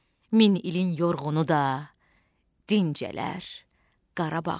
Min ilin yorğunu da dincələr Qarabağda.